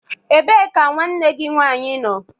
Ebee ka nwanne gị nwaanyị nọ?